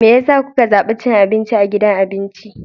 Me yasa kuka zabi cin abinci a gidan abinci?